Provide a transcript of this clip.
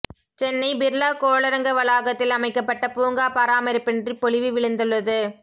சென்னை பிர்லா கோளரங்க வளாகத்தில் அமைக்கப்பட்ட பூங்கா பராமரிப்பின்றி பொலி விழந்துள்ளது